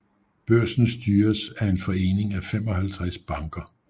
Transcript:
Børsen styres af en forening af 55 banker